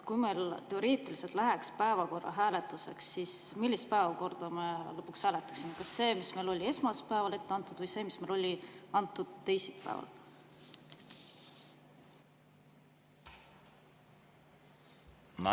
Kui meil teoreetiliselt läheks päevakorra hääletamiseks, siis millist päevakorda me lõpuks hääletaksime: kas seda, mis oli meile esmaspäeval ette antud, või seda, mis anti meile teisipäeval?